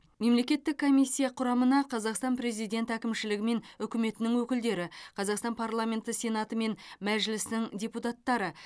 мемлекеттік комиссия құрамына қазақстан президент әкімшілігі мен үкіметінің өкілдері қазақстан парламенті сенаты мен мәжілісінің депутаттары